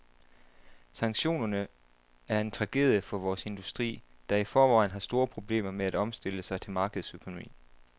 Sanktionerne er en tragedie for vores industri, der i forvejen har store problemer med at omstille sig til markedsøkonomi.